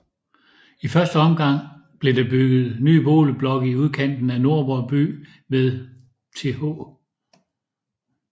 I første omgang blev der bygget nye boligblokke i udkanten af Nordborg by ved Th